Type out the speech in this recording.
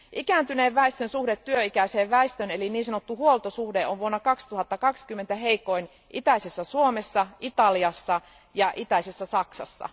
Ikääntyneen väestön suhde työikäiseen väestöön eli niin sanottu huoltosuhde on vuonna 2020 heikoin itäisessä Suomessa, Italiassa ja itäisessä Saksassa.